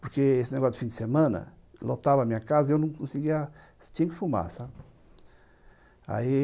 Porque esse negócio de fim de semana lotava a minha casa e eu não conseguia... Tinha que fumar, sabe? Aí...